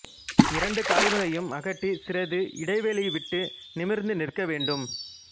இரண்டு கால்களையும் அகட்டி சிறிது இடைவெளி விட்டு நிமிா்ந்து நிற்க வேண்டும்